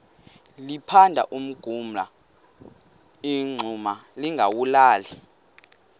liphanda umngxuma lingawulali